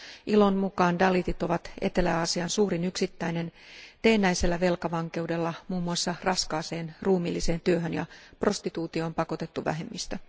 ILOn mukaan dalitit ovat Etelä Aasian suurin yksittäinen teennäisellä velkavankeudella muun muassa raskaaseen ruumiilliseen työhön ja prostituutioon pakotettu vähemmistö.